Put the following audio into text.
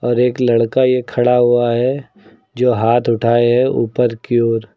और एक लड़का ये खड़ा हुआ है जो हाथ उठाए हैं ऊपर की ओर।